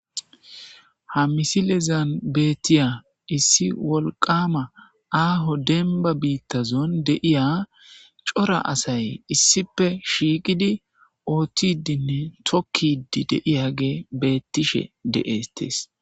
Ha misilezan bettiya issi wolqama aaho denba biittazon deiya cora asay issife shiiqidi oothtidinne tokkidi deiyage bettishe deestees.